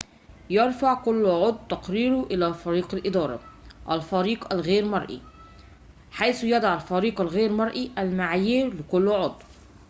يرفع كلُّ عضوٍ تقاريره إلى فريق الإدارة الفريق غير المرئي حيث يضع الفريق غير المرئي المعايير لكلِّ عضو